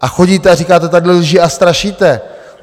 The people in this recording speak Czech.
A chodíte a říkáte tady lží a strašíte!